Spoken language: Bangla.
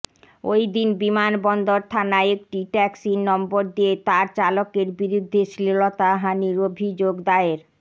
ওই দিন বিমানবন্দর থানায় একটি ট্যাক্সির নম্বর দিয়ে তার চালকের বিরুদ্ধে শ্লীলতাহানির অভিযোগ দায়ের